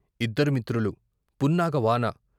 ఇద్దరు మిత్రులు, పున్నాగ వాన